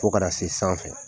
Fo ka na se sanfɛ